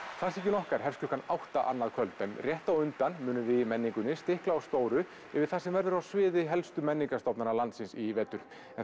klassíkin okkar hefst klukkan átta annað kvöld en rétt á undan munum við í menningunni stikla á stóru yfir það sem verður á svið helstu menningarstofnana landsins í vetur en